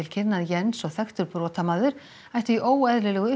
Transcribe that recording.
kynna að Jens og þekktur brotamaður ættu í óeðlilegu